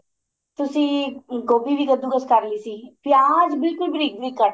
ਤੁਸੀਂ ਗੋਭੀ ਵੀ ਕਦੂ ਕਸ ਕਰ ਲਈ ਸੀ ਪਿਆਜ ਬਿਲਕੁਲ ਬਰੀਕ ਬਰੀਕ ਕੱਟ